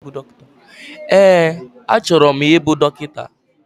Ee, achọrọ m ịbụ dọkịta.